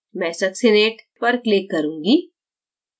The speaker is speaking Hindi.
मैं succinate पर click करूँगी